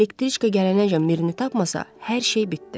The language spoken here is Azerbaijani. Elektriçka gələnəcən Mirini tapmasa hər şey bitdi.